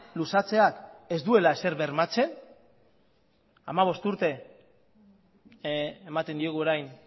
luzatzeak ez duela ezer bermatzen hamabost urte ematen diogu orain